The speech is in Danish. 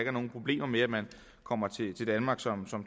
er nogen problemer med at man kommer til danmark som